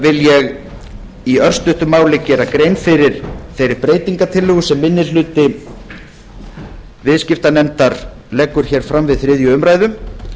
vil ég í örstuttu máli gera grein fyrir þeirri breytingartillögu sem minni hluti viðskiptanefndar leggur hér fram við þriðju umræðu